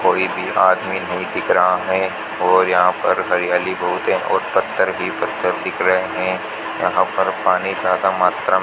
कोई भी आदमी नहीं दिख रहा है और यहां पर हरियाली बहुत है और पत्थर ही पत्थर दिख रहे है यहां पर पानी का ज्यादा मात्रा में --